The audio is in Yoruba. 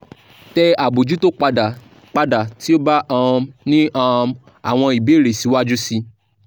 tẹ abojuto pada pada ti o ba um ni um awọn ibeere siwaju sii